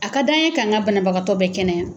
A ka d'an ye k'an ŋa banabagatɔ bɛɛ kɛnɛya